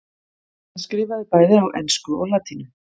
hann skrifaði bæði á ensku og latínu